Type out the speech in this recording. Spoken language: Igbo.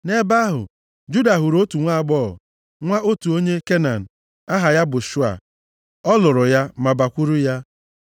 Nʼebe ahụ, Juda hụrụ otu nwaagbọghọ, nwa otu nwoke onye Kenan, aha ya bụ Shua. Ọ lụrụ ya ma bakwuru ya.